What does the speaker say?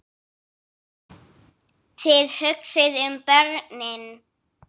Þið hugsið um börnin.